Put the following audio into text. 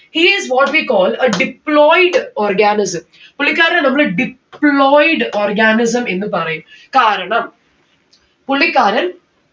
he is what we call a deployed organism. പുള്ളിക്കാരനെ നമ്മള് deployed organism എന്ന് പറയും കാരണം പുള്ളിക്കാരൻ